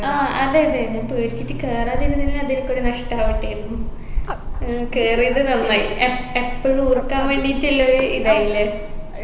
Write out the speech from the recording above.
ആ അതെ അതെ നീ പേടിച്ചിട്ട് കേറാതിരുന്നെങ്കി അത് എനിക്ക് ഒരു നഷ്ടാവട്ടെരുന്നു ഏർ കയറിയത് നന്നായി എപ്പോഴും ഓർക്കാൻ വേണ്ടിയിട്ടുള്ളൊരു ഇതായില്ലേ